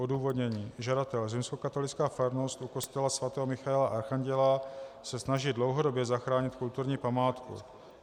Odůvodnění: Žadatel, Římskokatolická farnost u kostela sv. Michaela Archanděla, se snaží dlouhodobě zachránit kulturní památku.